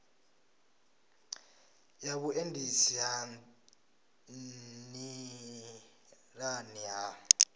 ya vhuendisi ha nḓilani ha